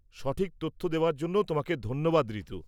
সঠিক তথ্য দেওয়ার জন্য তোমাকে ধন্যবাদ, ঋতু।